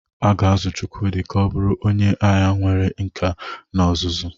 A ga-azụ Chukwudi ka ọ bụrụ onye agha nwere nkà na ọzụzụ.